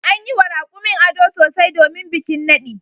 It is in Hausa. An yi wa raƙumin ado sosai domin bikin naɗi.